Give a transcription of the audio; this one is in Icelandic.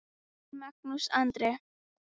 Þinn, Magnús Andri.